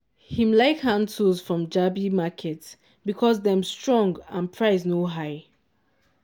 him like hand tools from jabi market because dem strong and price no hig.